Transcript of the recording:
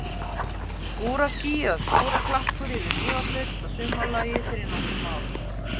Skúraský eða skúraklakkur yfir Mývatnssveit að sumarlagi fyrir nokkrum árum.